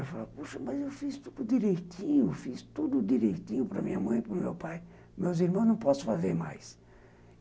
Eu falava, poxa, mas eu fiz tudo direitinho, fiz tudo direitinho para minha mãe, para o meu pai, meus irmãos, não posso fazer mais.